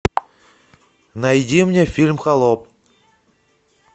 найди мне фильм холоп